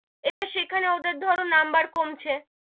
এবার সেখানে ওদের ধরো number কমছে,